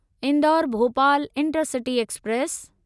Indore Bhopal intercity express